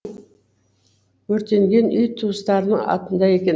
өртенген үй туыстарының атында екен